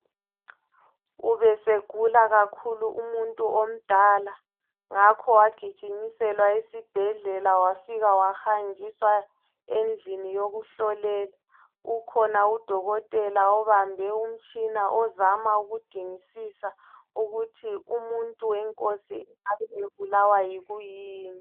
Ubesegula kakhulu umuntu omdala, ngakho wagijinyiselwa esibhedlela wafika wahanjiswa endlini yokuhlolela. Ukhona udokotela obambe umtshina ozama ukudingisisa ukuthi umuntu wenkosi engabe ebulawa yikuyini.